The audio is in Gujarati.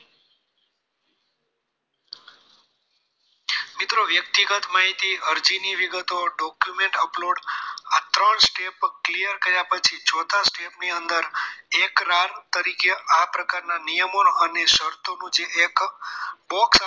મિત્રો વ્યક્તિગત માહિતી અરજી ની વિગતો document upload આ ત્રણ step clear કર્યા પછી ચોથા step ની અંદર એક રાત તરીકે આ પ્રકારના નિયમો અને શરતો મુજબ એક box આવશે